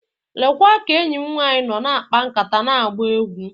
Lekwa ka enyi m nwanyị nọ na-akpa nkata na-agba egwu.